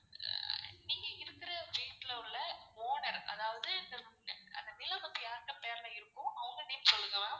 நீங்க இருக்குற வீட்ல உள்ள owner அதாவது அந்த நிலம் வந்து யாருடைய பெர்ல இருக்கோ அவங்க name சொல்லுங்க ma'am.